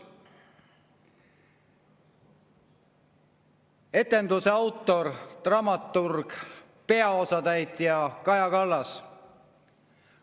Etenduse autor, dramaturg ja peaosatäitja: Kaja Kallas.